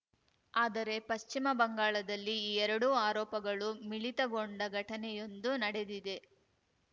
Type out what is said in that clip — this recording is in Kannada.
ಆದರೆ ಪಶ್ಚಿಮ ಬಂಗಾಳದಲ್ಲಿ ಈ ಎರಡೂ ಆರೋಪಗಳು ಮಿಳಿತಗೊಂಡ ಘಟನೆಯೊಂದು ನಡೆದಿದೆ